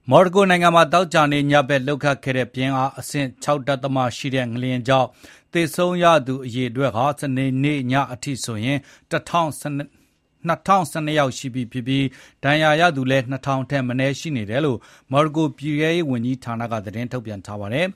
မော်ရိုကို နိုင်ငံမှာ သောကြာနေ့ ညဘက် လှုပ်ခတ်ခဲ့တဲ့ ပြင်းအား အဆင့် ၆.၈ ရှိတဲ့ ငလျင်ကြောင့် သေဆုံးရသူက စနေညအထိဆို ၂၀၁၂ ယောက်ရှိပြီဖြစ်ပြီး ဒဏ်ရာရသူကလည်း ၂၀၀၀ ထက် မနည်းရှိနေတယ်လို့ မော်ရိုကို ပြည်ထဲရေးဝန်ကြီးဌာနက သတင်းထုတ်ပြန်ပါတယ်